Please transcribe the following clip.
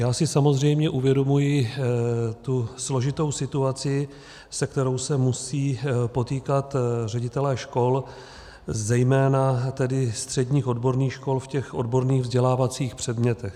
Já si samozřejmě uvědomuji tu složitou situaci, se kterou se musí potýkat ředitelé škol, zejména tedy středních odborných škol, v těch odborných vzdělávacích předmětech.